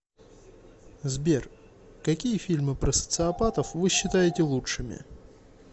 сбер какие фильмы про социопатов вы считаете лучшими